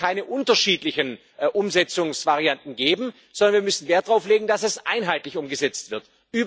Es wird keine unterschiedlichen Umsetzungsvarianten geben, sondern wir müssen Wert darauf legen, dass es einheitlich umgesetzt wird.